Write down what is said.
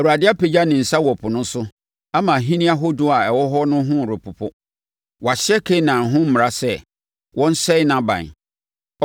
Awurade apagya ne nsa wɔ ɛpo no so ama ahennie ahodoɔ a ɛwɔ hɔ no repopo. Wahyɛ Kanaan ho mmara sɛ, wɔnsɛe nʼaban.